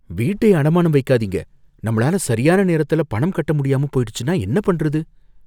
வீட்டை அடமானம் வைக்காதீங்க. நம்மளால சரியான நேரத்துல பணம் கட்ட முடியாம போயிடுச்சுன்னா என்ன பண்றது?